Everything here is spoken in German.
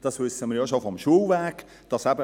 Das wissen wir schon vom Schulweg her.